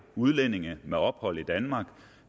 udlændinge med ophold i danmark